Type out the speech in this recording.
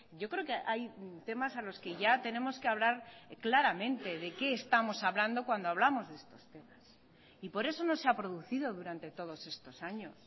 yo creo que hay temas a los que ya tenemos que hablar claramente de qué estamos hablando cuando hablamos de estos temas y por eso no se ha producido durante todos estos años